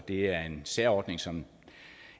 det er en særordning som